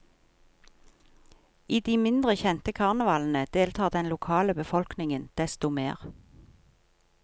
I de mindre kjente karnevalene deltar den lokale befolkningen desto mer.